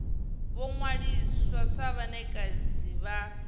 vho ṅwaliswa sa vhanekedzi vha